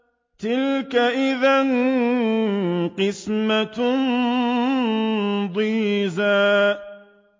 تِلْكَ إِذًا قِسْمَةٌ ضِيزَىٰ